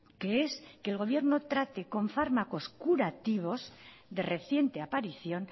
que es que el gobierno trate con fármacos curativos de reciente aparición